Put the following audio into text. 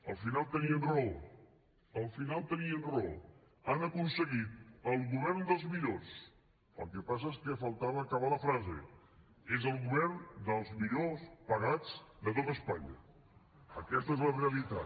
al final tenien raó al final tenien raó han aconseguit el govern dels millors el que passa és que faltava acabar la frase és el govern dels millors pagats de tot espanya aquesta és la realitat